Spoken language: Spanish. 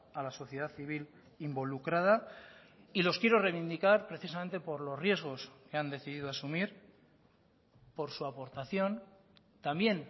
a la sociedad civil involucrada y los quiero reivindicar precisamente por los riesgos que han decidido asumir por su aportación también